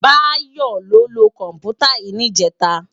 Bayo ló lö kòmpútá yi nijètá